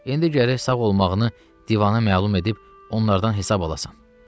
İndi gərək sağ olmağını divana məlum edib onlardan hesab alasan.